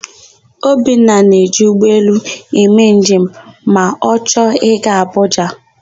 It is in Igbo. Obinna na-eji ụgbọelu eme njem ma ọ chọọ ị gaa Abụja.